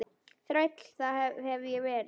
Þræll, það hef ég verið.